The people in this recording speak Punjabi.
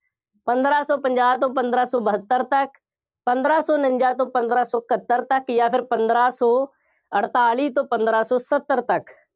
ਪੰਦਰਾ ਸੌਂ ਪੰਜਾਹ ਤੋਂ ਪੰਦਰਾ ਸੌ ਬਹੱਤਰ ਤੱਕ, ਪੰਦਰਾਂ ਸੌ ਉਨੰਜ਼ਾ ਤੋਂ ਪੰਦਰਾਂ ਸੌ ਇਕੱਹਤਰ ਤੱਕ ਜਾਂ ਫਿਰ ਪੰਦਰਾ ਸੌ ਅਠਤਾਲੀ ਤੋਂ ਪੰਦਰਾ ਸੌ ਸੱਤਰ ਤੱਕ,